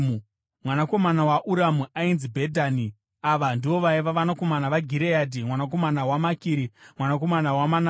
Mwanakomana waUramu ainzi Bhedhani. Ava ndivo vaiva vanakomana vaGireadhi mwanakomana waMakiri mwanakomana waManase.